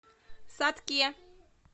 сатке